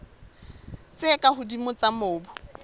tse ka hodimo tsa mobu